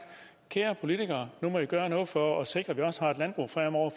kære politikere nu må i gøre noget for at sikre at